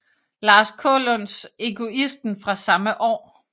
Lars Kaalunds Egoisten fra samme år